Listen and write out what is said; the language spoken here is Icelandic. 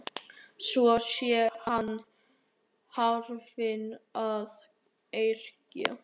Svo sé hann farinn að yrkja.